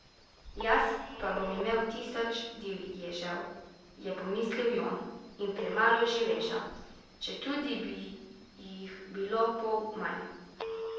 Jaz pa bom imel tisoč divježev, je pomislil Jon, in premalo živeža, četudi bi jih bilo pol manj.